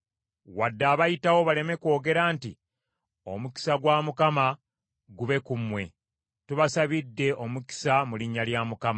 Wadde abayitawo baleme kwogera nti, “Omukisa gwa Mukama gube ku mmwe. Tubasabidde omukisa mu linnya lya Mukama .”